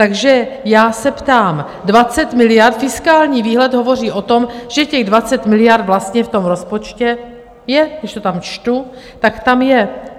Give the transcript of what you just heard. Takže já se ptám, 20 miliard, fiskální výhled hovoří o tom, že těch 20 miliard vlastně v tom rozpočtu je, když to tam čtu, tak tam je.